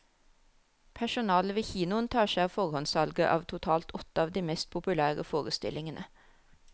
Personalet ved kinoen tar seg av forhåndssalget av totalt åtte av de mest populære forestillingene.